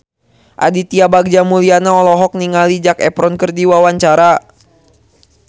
Aditya Bagja Mulyana olohok ningali Zac Efron keur diwawancara